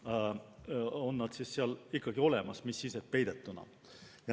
Need on seal ikkagi olemas, mis sellest, et peidetuna.